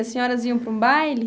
As senhoras iam para um baile?